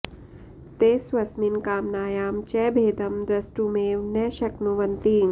ते स्वस्मिन् कामनायां च भेदं द्रष्टुमेव न शक्नुवन्ति